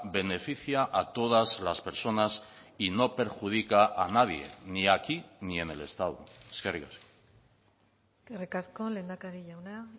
beneficia a todas las personas y no perjudica a nadie ni aquí ni en el estado eskerrik asko eskerrik asko lehendakari jauna